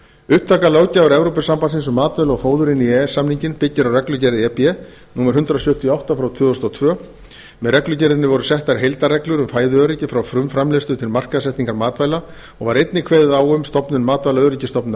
upptaka löggjafar evrópusambandsins um matvæli og fóður byggir á reglugerð e b númer hundrað sjötíu og átta frá tvö þúsund og tvö með reglugerðinni voru settar heildarreglur um fæðuöryggi frá frumframleiðslu til markaðssetningar matvæla og var einnig kveðið á um stofnun matvælaöryggisstofnunar